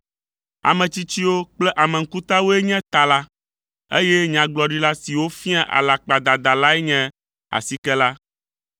Ame tsitsiwo kple ame ŋkutawoe nye ta la, eye nyagblɔɖila siwo fiaa alakpadada lae nye asike la.